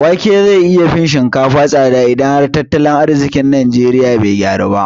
Wake zai iya fin shinkafa tsada idan har tattalin arziƙin ƙasar najeriya bai gyaru ba